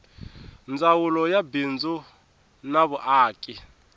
ndzawulo ya mabindzu na vumaki